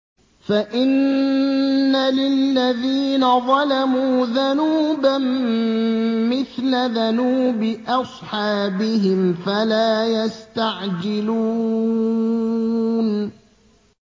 فَإِنَّ لِلَّذِينَ ظَلَمُوا ذَنُوبًا مِّثْلَ ذَنُوبِ أَصْحَابِهِمْ فَلَا يَسْتَعْجِلُونِ